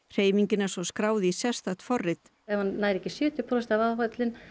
hreyfingin er svo skráð í sérstakt forrit ef hann nær ekki sjötíu prósent af áætlun